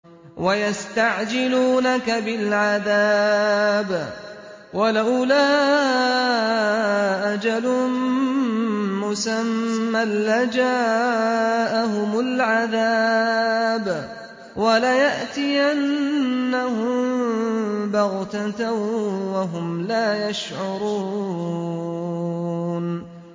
وَيَسْتَعْجِلُونَكَ بِالْعَذَابِ ۚ وَلَوْلَا أَجَلٌ مُّسَمًّى لَّجَاءَهُمُ الْعَذَابُ وَلَيَأْتِيَنَّهُم بَغْتَةً وَهُمْ لَا يَشْعُرُونَ